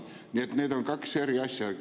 Nii et need on kaks eri asja.